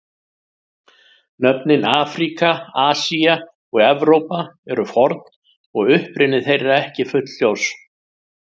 Nöfnin Afríka, Asía og Evrópa eru forn og uppruni þeirra ekki fullljós.